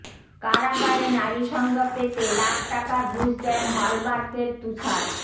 কারাগারে নারীসঙ্গ পেতে লাখ টাকা ঘুষ দেন হলমার্কের তুষার